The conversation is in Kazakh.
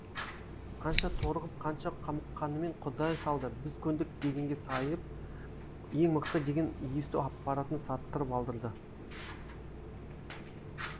қанша торығып қанша қамыққанымен құдай салды біз көндік дегенге сайып ең мықты деген есту аппаратын саттырып алдырды